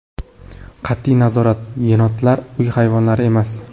Qat’iy nazorat Yenotlar – uy hayvonlari emas.